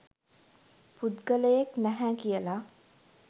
පුද්ගලයෙක් නැහැ කියලා.